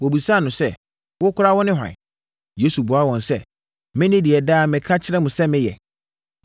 Wɔbisaa no sɛ, “Wo koraa, wone hwan?” Yesu buaa wɔn sɛ, “Mene deɛ daa meka kyerɛ mo sɛ meyɛ.